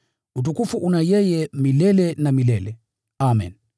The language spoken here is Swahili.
Utukufu una yeye milele na milele. Amen.